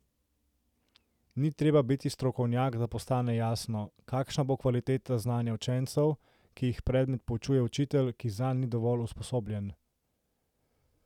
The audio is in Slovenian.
Ni treba biti strokovnjak, da postane jasno, kakšna bo kvaliteta znanja učencev, ki jih predmet poučuje učitelj, ki zanj ni dovolj usposobljen.